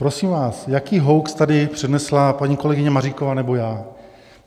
Prosím vás, jaký hoax tady přednesla paní kolegyně Maříková nebo já?